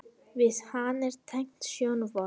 Við hana er tengt sjónvarp.